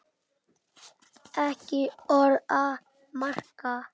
Ekki orð að marka.